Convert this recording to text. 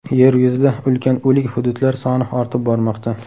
Yer yuzida ulkan o‘lik hududlar soni ortib bormoqda.